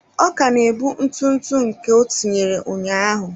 Ọ ka na-ebu ntụ ntụ nke ọ tinyere ụnyaahụ.